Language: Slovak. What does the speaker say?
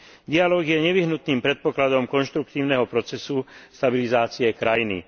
Dialóg je nevyhnutným predpokladom konštruktívneho procesu stabilizácie krajiny.